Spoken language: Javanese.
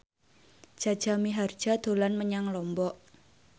Jaja Mihardja dolan menyang Lombok